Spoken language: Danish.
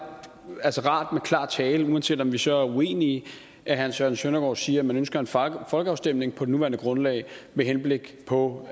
altså er rart med klar tale uanset om vi så er uenige at herre søren søndergaard siger at man ønsker en folkeafstemning på det nuværende grundlag med henblik på